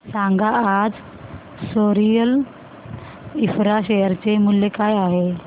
सांगा आज सोरिल इंफ्रा शेअर चे मूल्य काय आहे